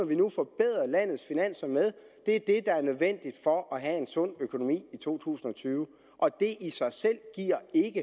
vi nu forbedrer landets finanser med er det der er nødvendigt for at have en sund økonomi i to tusind og tyve og det i sig selv giver ikke